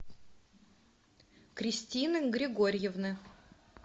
кристины григорьевны